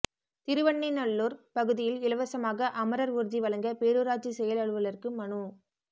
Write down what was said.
திருவெண்ணெய்நல்லூர் பகுதியில் இலவசமாக அமரர் ஊர்தி வழங்க பேரூராட்சி செயல் அலுவலருக்கு மனு